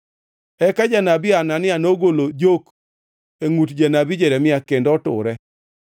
To janabi makoro kwe nowinji mana ka ngʼatno moor gi Jehova Nyasaye adier mana ka gima okoro otimore.”